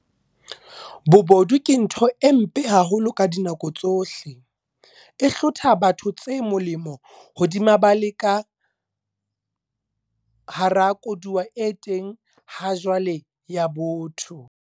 Bobodu ke ntho e mpe haholo ka dinako tsohle, e hlotha batho tse molemo hodima ba le ka hara koduwa e teng hajwale ya botho.